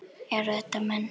Eru þetta menn?